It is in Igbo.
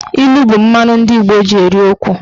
Ilu bụ mmanụ ndị Igbo ji eri okwu.